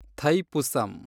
Thaipusam